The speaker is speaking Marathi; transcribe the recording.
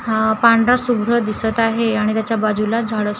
हा पांढराशुभ्र दिसत आहे आणि त्याच्या बाजूला झाडंसुद्धा आहेत.